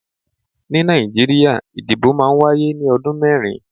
Ni Nàìjíríà, ìdìbò máa ń wáyé ní ọdún mẹ́rin.